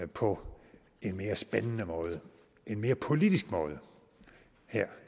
på en mere spændende måde en mere politisk måde her